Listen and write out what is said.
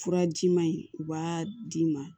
Furaji ma in u b'a d'i ma